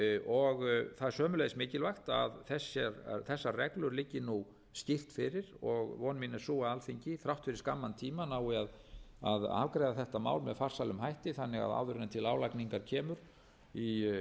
og það er sömuleiðis mikilvægt að þessar reglur liggi nú skýrt fyrir og von mín er sú að alþingi þrátt fyrir skamman tíma nái að afgreiða þetta mál með farsælum hætti þannig að áður en til álagningar kemur í